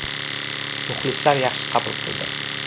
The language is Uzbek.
Muxlislar yaxshi qabul qildi.